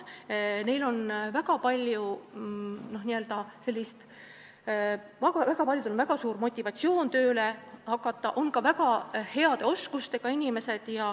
Väga paljudel on väga suur motivatsioon tööle hakata, nende seas on ka väga heade oskustega inimesi.